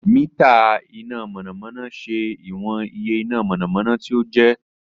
Mita ina mọnamọna ṣe iwọn iye ina mọnamọna ti o jẹ